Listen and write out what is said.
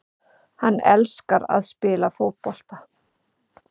Hann elskar að spila fótbolta